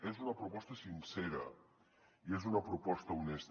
és una proposta sincera i és una proposta honesta